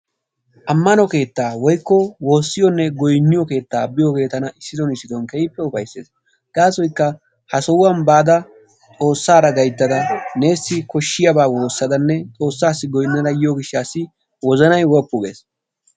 Ammano keettaa woykko woossiyonne goynniyo keettaa biyooge tana issiton issiton tana keehippe ufayisses. Gaasoykka ha sohuwan baada xoossaara gayttada neessi koshshiyaba woossadanne xoossaassi goyinnada yiyo gishshaassi wozanay woppu gees.